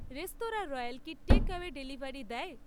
Restaurant Royal কি takeaway delivery দেয়?